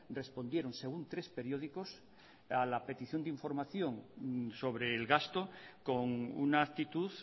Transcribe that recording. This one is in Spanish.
respondieron según tres periódicos a la petición de información sobre el gasto con una actitud